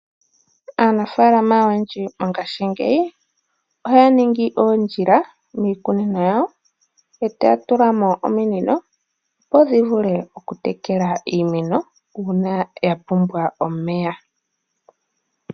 Aanafaalam oyendji mongashgingeyi ohaya ningi oondjila miikunino yawo etaya tula mo ominino opo dhivule okutekela iimeno uuna yapumbwa omeya.